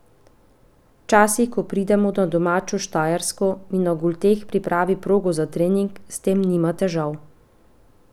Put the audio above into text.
Včasih, ko pridem na domačo Štajersko, mi na Golteh pripravi progo za trening, s tem nima težav.